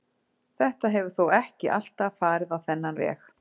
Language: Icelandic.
Þetta hefur þó ekki alltaf verið á þennan veg.